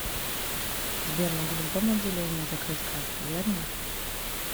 сбер могу в любом отделении закрыть карту верно